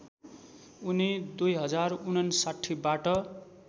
उनी २०५९ बाट